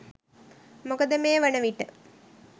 මොකද මේ වන විට